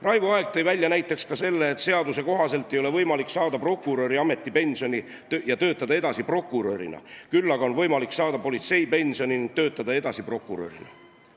Raivo Aeg rääkis veel sellest, et seaduse kohaselt ei ole võimalik saada näiteks prokuröri ametipensioni ja töötada edasi prokurörina, küll aga on võimalik saada politseipensioni ja töötada edasi prokurörina.